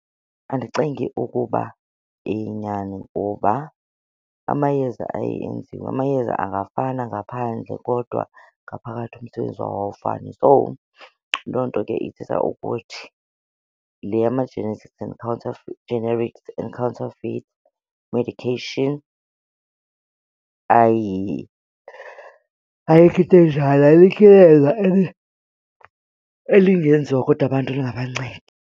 Andicingi ukuba iyinyani kuba amayeza aye enziwe, amayeza angafana ngaphandle kodwa ngaphakathi umsebenzi wawo awufani. So loo nto ke ithetha ukuthi le generic and counterfeit medication ayikho into enjalo, alikho iyeza elingenziwa kodwa abantu lingabancedi.